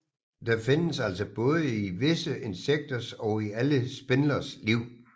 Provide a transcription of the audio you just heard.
Det findes altså både i visse insekters og i alle spindleres liv